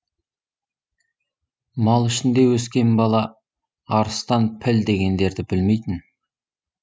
мал ішінде өскен бала арыстан піл дегендерді білмейтін